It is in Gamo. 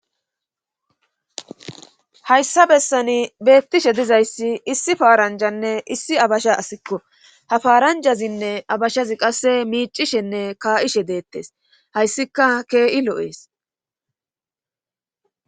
Hayssa bessani beettishe dizayssi issi paaranjanne issi abasha asikko ha faaranjazinne abashazi qasse miicishenne ka'ishe deettes hayssika kee'i lo'ees.